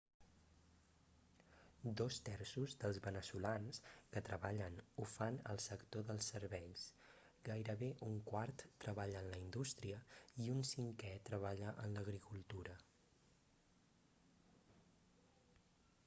dos terços dels veneçolans que treballen ho fan al sector dels serveis gairebé un quart treballa en la indústria i un cinquè treballa en l'agricultura